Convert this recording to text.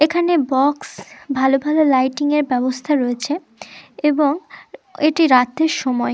এখানে বক্স ভালো ভালো লাইটিং -এর ব্যবস্থা রয়েছে এবং এটি রাত্রের সময়--